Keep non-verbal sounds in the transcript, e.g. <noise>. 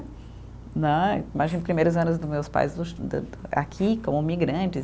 Né, imagina os primeiros anos dos meus pais <unintelligible> aqui, como imigrantes.